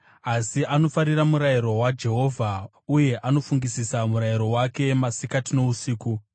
Asi anofarira murayiro waJehovha, uye anofungisisa murayiro wake masikati nousiku.